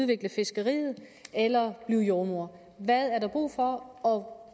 vil til fiskeriet eller blive jordemoder hvad er der brug for og